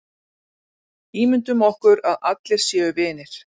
Ímyndum okkur að allir séu vinir.